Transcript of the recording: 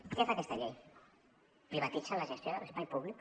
què fa aquesta llei privatitza la gestió de l’espai públic